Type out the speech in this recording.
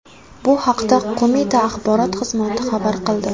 Bu haqda Qo‘mita axborot xizmati xabar qildi .